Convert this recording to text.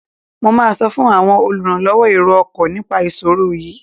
Mo máa sọ fún àwọn olùrànlọwọ èrò ọkọ̀ nipa ìṣòro yiìí.